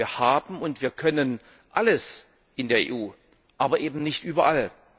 Wir haben und wir können alles in der EU, aber eben nicht überall.